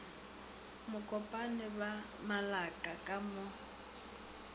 mokopane ba malaka ka mo